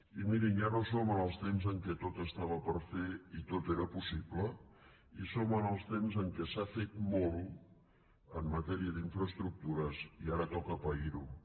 i mirin ja no som en els temps en què tot estava per fer i tot era possible i som en els temps en què s’ha fet molt en matèria d’infraestructures i ara toca pair ho